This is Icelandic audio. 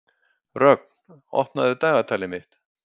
Rögn, opnaðu dagatalið mitt.